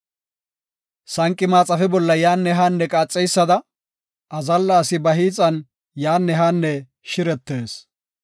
Sanqi maxaafe bolla yaanne haanne qaaxeysada, azalla asi ba hiixan yaanne haanne shiretees.